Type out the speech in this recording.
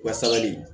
Basali